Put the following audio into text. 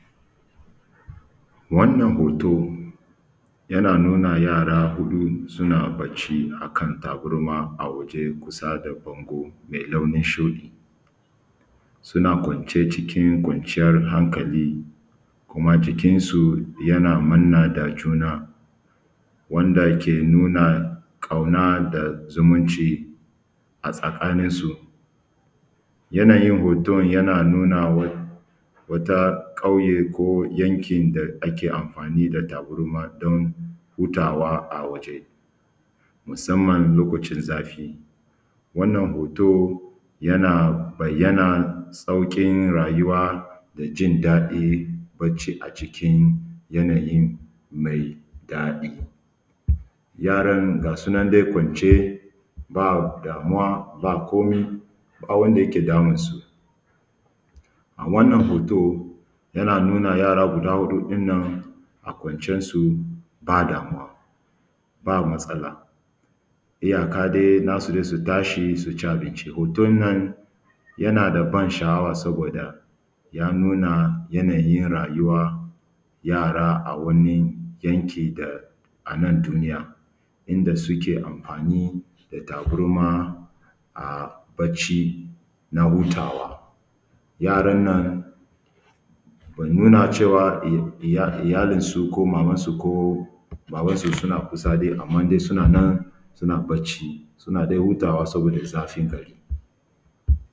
Wannan hoto yana nuna yara huɗu suna bacci akan tabarma a waje kusa da banbu me launin shuɗi suna kwance cikin kwanciyr hankali kuma jikin su yana manne da juna wanda ke nuna ƙauna da zumunci a tsakanin nsu yanayin hoton yana nuna wata ƙauye ko yankin da ake amfani da tabara don hutawa a waje musaman lokacin zafi wannan hoto yana bayyana sauƙin rayuwa da jin daɗin bacci a cikin yanayin mai daɗi yaran gasunan nan dai kwance ba damuwa ba komai ba wanda yake damunsu a wannan hoto yana nuna yara kwara huɗun nan a kwancensu ba damuwa ba matsala iyaka dai nasu su tashi su ci abinci hoton nan yana da bansha’awa saboda yannuna yanayi na rayuwa na yara a wani yanki na nan duniya inda suke amfani da tabarma a bacci na hutawa yaran nan muna cewa iyalisu ko maman su ko baban su suna kusadai amma dais u nan sna accisun dai hutawa saboda zafin gari.